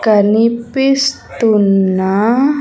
కనిపిస్తున్న .